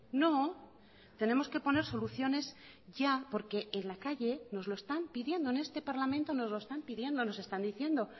no tenemos que poner soluciones ya porque en la calle nos lo están pidiendo en este parlamento nos lo están pidiendo nos están diciendo